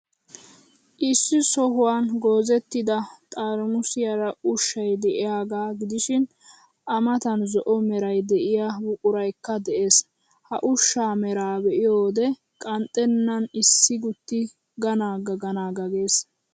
Issi sohuwan goozettida xarimusiyaara ushshay de'iyaaga gidishin,A matan zo'o meray de'iyoo buquraykka de'ees. Ha ushshaa meraa be'iyo wode qanxxennan issi gutti ganaga ganaga gees.